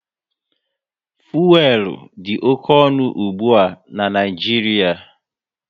Fuelu dị oké ọnụ ụgbụa n'Naijiria